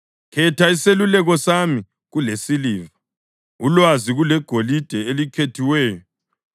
Khetha iseluleko sami kulesiliva, ulwazi kulegolide elikhethiweyo,